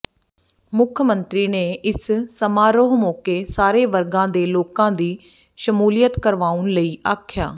ਮੁੱਖ ਮੰਤਰੀ ਨੇ ਇਸ ਸਮਾਰੋਹ ਮੌਕੇ ਸਾਰੇ ਵਰਗਾਂ ਦੇ ਲੋਕਾਂ ਦੀ ਸ਼ਮੂਲੀਅਤ ਕਰਵਾਉਣ ਲਈ ਆਖਿਆ